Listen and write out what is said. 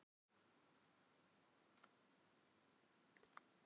Þessi ferð er mér knýjandi nauðsyn.